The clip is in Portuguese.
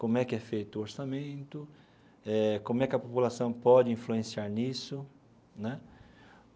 Como é que é feito o orçamento eh, como é que a população pode influenciar nisso, né?